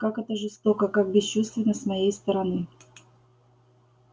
как это жестоко как бесчувственно с моей стороны